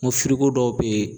N ko dɔw bɛ ye